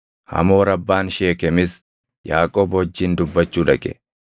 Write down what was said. Hamoor abbaan Sheekemis Yaaqoob wajjin dubbachuu dhaqe.